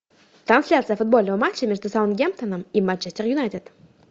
трансляция футбольного матча между саутгемптоном и манчестер юнайтед